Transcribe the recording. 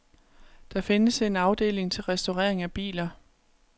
Der findes en afdeling til restaurering af biler.